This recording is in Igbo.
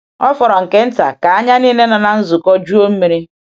Ọ fọrọ nke nta ka anya niile n’ụlọ nzukọ juo mmiri.